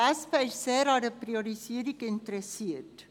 Die SP ist sehr an einer Priorisierung interessiert.